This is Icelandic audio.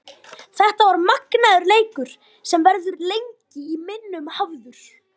Þetta var magnaður leikur sem verður lengi í minnum hafður.